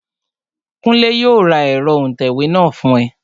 Kúnlé yóò ra ẹ̀rọ òǹtẹ̀wé náà fún ẹ